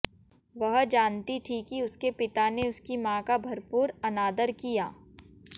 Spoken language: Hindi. वह जानती थीं कि उसके पिता ने उसकी मां का भरपूर अनादर किया